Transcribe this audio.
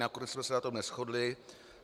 Nakonec jsme se na tom neshodli.